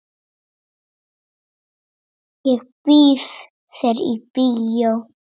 Ég býð þér í bíó.